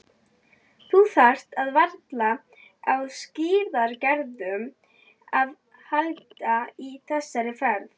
Þú þarft varla á skíðagleraugum að halda í þessari ferð.